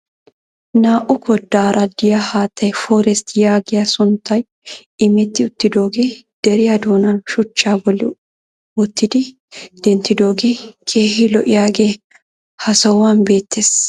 Naa"u koddara diya haattay forest yaagiyaa sunttay imetti uttidooge deriya doonan shuchchaa bolli wottidi denttidoogee keehi lo'iyaagee ha sohuwan beettees.